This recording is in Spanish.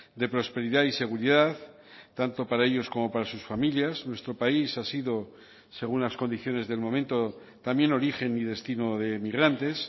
de prosperidad y seguridad tanto para ellos como para sus familias nuestro país ha sido según las condiciones del momento también origen y destino de migrantes